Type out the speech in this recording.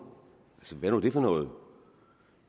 hvad er nu det for noget